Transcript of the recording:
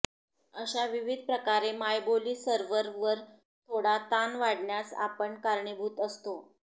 अशा विविधप्रकारे मायबोली सर्व्हर वर थोडा ताण वाढण्यास आपण कारणीभूत असतो